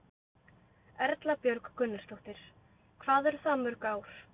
Erla Björg Gunnarsdóttir: Hvað eru það mörg ár?